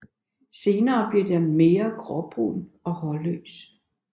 Senere bliver den mere gråbrun og hårløs